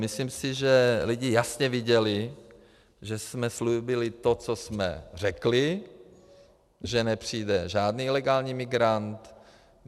Myslím si, že lidi jasně viděli, že jsme slíbili to, co jsme řekli, že nepřijde žádný ilegální migrant.